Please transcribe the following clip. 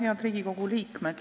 Head Riigikogu liikmed!